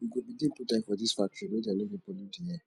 we go begin put eye for dese factories make dem no dey pollute di air